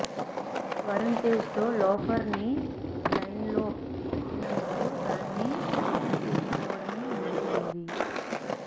వరుణ్ తేజ్ తో లోఫర్ ని లైన్ లో పెట్టినందుకు దాన్ని పూర్తి చేసుకోవడమే మిగిలి ఉంది